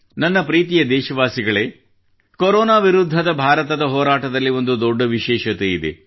ನನ್ನ ಪ್ರೀತಿಯ ದೇಶವಾಸಿಗಳೇ ಕೊರೋನಾ ವಿರುದ್ಧದ ಭಾರತದ ಹೋರಾಟದಲ್ಲಿ ಒಂದು ದೊಡ್ಡ ವಿಶೇಷತೆಯಿದೆ